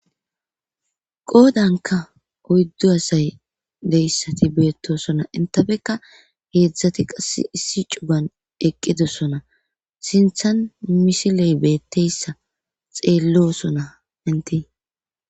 qoodanka oyddu asay deyssati beettosona intafeka heedzdzati qas issi cuban eqqidosona sinthan misiley beetteyssa xeellosona inti